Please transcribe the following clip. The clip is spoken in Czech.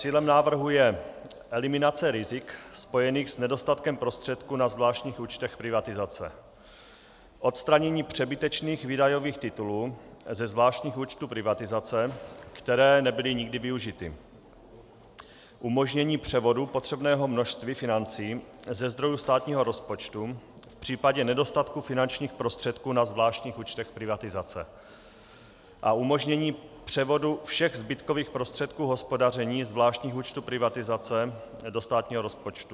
Cílem návrhu je eliminace rizik spojených s nedostatkem prostředků na zvláštních účtech privatizace, odstranění přebytečných výdajových titulů ze zvláštních účtů privatizace, které nebyly nikdy využity, umožnění převodu potřebného množství financí ze zdrojů státního rozpočtu v případě nedostatku finančních prostředků na zvláštních účtech privatizace a umožnění převodu všech zbytkových prostředků hospodaření zvláštních účtů privatizace do státního rozpočtu.